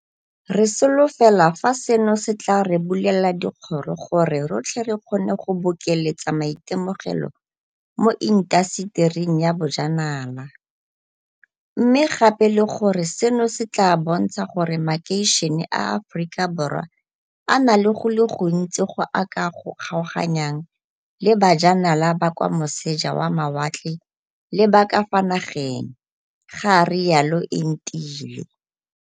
Re solofela fa seno se tla re bulela dikgoro gore rotlhe re kgone go bokeletsa maitemogelo mo intasetering ya bojanala, mme gape le gore seno se tla bontsha gore makeišene a Aforika Borwa a na le go le gontsi go a ka o kgaoganyang le ba janala ba kwa moseja wa mawatle le ba ka fa nageng, ga rialo Entile.